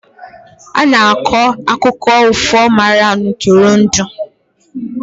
a na-akọ akụkọ ifo maka ntụrụndụ